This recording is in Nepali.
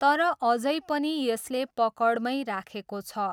तर अझै पनि यसले पकडमै राखेको छ।